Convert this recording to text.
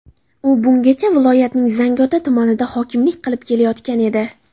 U bungacha viloyatning Zangiota tumaniga hokimlik qilib kelayotgan edi.